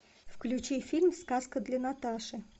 включи фильм сказка для наташи